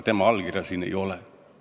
Tema allkirja sellel eelnõul ei ole.